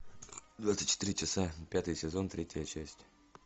двадцать четыре часа пятый сезон третья часть